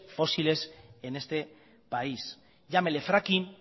fósiles en este país llámele fracking